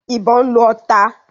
ìbọn ń lọ.